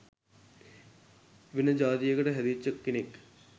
වෙන ජාතියකට හැදිච්ච කෙනෙක්